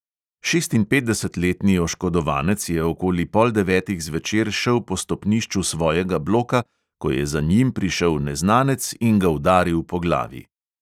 Šestinpetdesetletni oškodovanec je okoli pol devetih zvečer šel po stopnišču svojega bloka, ko je za njim prišel neznanec in ga udaril po glavi.